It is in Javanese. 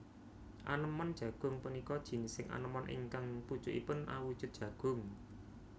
Anémon jagung punika jinising anémon ingkang pucukipun awujud jagung